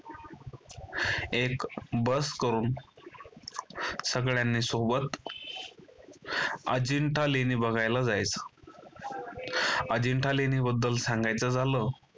एक बस करून सगळ्यांनी सोबत अजिंठा लेणी बघायला जायचं. अजिंठा लेणी बद्दल सांगायचं झालं